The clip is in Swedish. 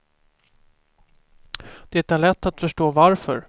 Det är lätt att förstå varför.